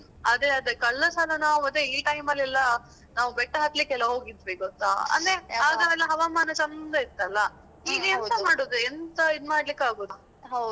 ಅದೇ ಅದೇ ಕಳ್ದ ಸಲ ನಾವು ಅದೇ ಈ time ಲೆಲ್ಲ ನಾವು ಬೆಟ್ಟ ಹತ್ಲಿಕ್ಕೆಲ್ಲಾ ಹೋಗಿದ್ವಿ ಗೊತ್ತಾ ಅಂದ್ರೆ ಆವಾಗ ಎಲ್ಲ ಹವಾಮಾನ ಎಲ್ಲ ಚಂದ ಇತ್ತಲ್ಲಾ ಈಗ ಎಂತ ಮಾಡುದು ಎಂತ ಇದು ಮಾಡ್ಲಿಕ್ಕಾಗುದಿಲ್ಲ ಎಲ್ಲಿಗಾದ್ರೂ ಹೋಗುವಾ ಅಂತ ಹೇಳಿದ್ರೆ ಹವಾಮಾನ ಹೇಗಾಗ್ತದಾ ಏನೋ ಯಾರಿಗೊತ್ತು ಹೆದ್ರಿಕಾಗ್ತದೆ. ಮತ್ತೆ ಎಲ್ಲ ನಾವು ಹೋಗುದು ಬೇಡ ಹಾಗೆ ಹೀಗೆ ಅಂತ ಹೇಳಿ plan ಎಲ್ಲ cancel ಮಾಡುದಲ್ಲ.